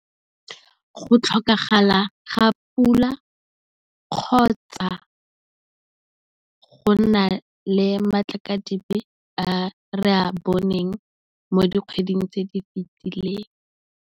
Go tlhokagala ga pula, kgotsa go nna le matlakadibe a re a boneng mo di kgweding tse di fetileng.